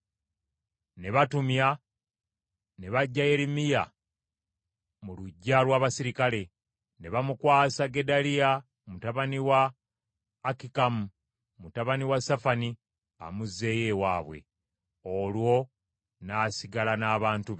ne batumya ne baggya Yeremiya mu luggya lw’abaserikale. Ne bamukwasa Gedaliya mutabani wa Akikamu, mutabani wa Safani, amuzzeeyo ewaabwe. Olwo n’asigala n’abantu be.